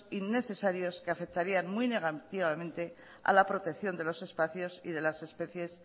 innecesarios que afectarían muy negativamente a la protección de los espacios y de las especies